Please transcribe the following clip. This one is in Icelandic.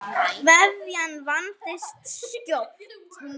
Kveðjan vandist skjótt.